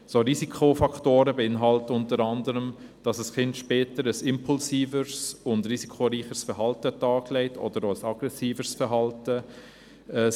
Solche Risikofaktoren beinhalten unter anderem, dass ein Kind später ein impulsiveres, risikoreicheres oder auch aggressiveres Verhalten an den Tag legt.